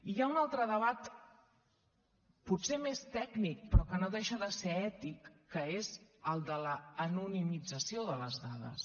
hi ha un altre debat potser més tècnic però que no deixa de ser ètic que és el de l’anonimització de les dades